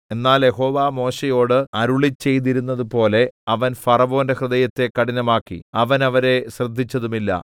എന്നാൽ യഹോവ മോശെയോട് അരുളിച്ചെയ്തിരുന്നതുപോലെ അവൻ ഫറവോന്റെ ഹൃദയത്തെ കഠിനമാക്കി അവൻ അവരെ ശ്രദ്ധിച്ചതുമില്ല